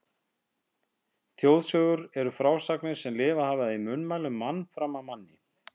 Þjóðsögur eru frásagnir sem lifað hafa í munnmælum mann fram af manni.